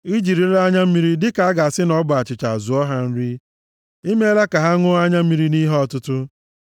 I jirila anya mmiri dịka a ga-asị na ọ bụ achịcha zụọ ha nri; i meela ka ha ṅụọ anya mmiri nʼihe ọtụtụ.